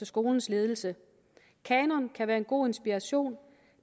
skolens ledelse en kanon kan være en god inspiration